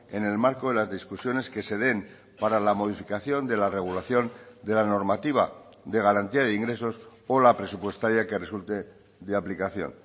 en el marco de las discusiones que se den para la modificación de la regulación de la normativa de garantía de ingresos o la presupuestaria que resulte de aplicación